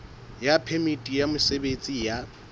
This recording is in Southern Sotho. ya phemiti ya mosebetsi ya